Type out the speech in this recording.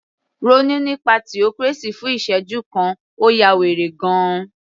Ronú nípa theocracy fún ìsẹ́jú kan, ó ya wèrè gan -an